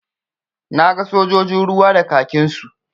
Na ga sojojin ruwa da kakinsu.